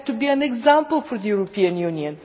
We have to be an example for the European Union.